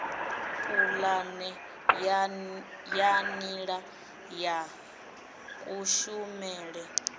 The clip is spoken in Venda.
pulane ya nila ya kushumele